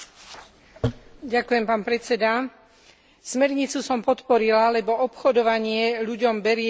Smernicu som podporila, lebo obchodovanie ľuďom berie slobodu v tom najširšom zmysle slova.